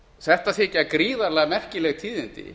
þetta þykja gríðarlega merkileg tíðindi